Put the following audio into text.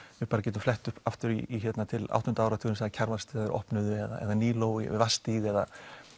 við getum flett aftur til áttunda áratugarins Kjarvalsstaðir opnuðu eða Míló við Vatnsstíg eða